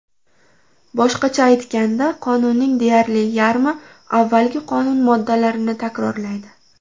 Boshqacha aytganda, qonunning deyarli yarmi avvalgi qonun moddalarini takrorlaydi.